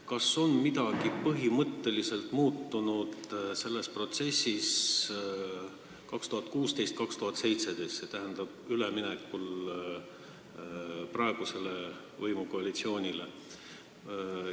Kas on midagi põhimõtteliselt muutunud selles protsessis aastatel 2016 ja 2017 ehk siis üleminekul praeguse koalitsiooni võimule?